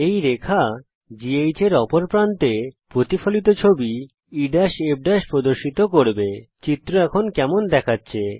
এই রেখা GH এর অপর প্রান্তে প্রতিফলিত ছবি ইএফ প্রদর্শিত করবে চিত্র এখন কেমন দেখাচ্ছে